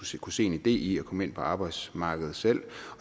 skal kunne se en idé i at komme ind på arbejdsmarkedet selv